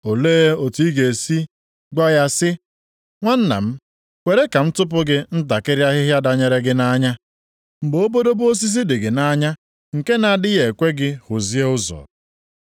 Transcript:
Olee otu ị ga-esi gwa ya si, ‘Nwanna m, kwere ka m tụpụ gị ntakịrị ahịhịa danyere gị nʼanya,’ mgbe obodobo osisi dị gị nʼanya, nke na-adịghị ekwe gị hụzie ụzọ.